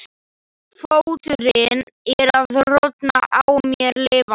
Fóturinn er að rotna á mér lifandi.